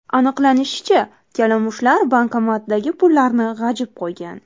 Aniqlanishicha, kalamushlar bankomatdagi pullarni g‘ajib qo‘ygan.